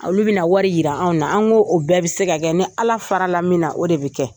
Olu bɛna wari yira anw na. An ko o bɛɛ bɛ se ka kɛ. Ni Ala fara la min na o de bɛ kɛ.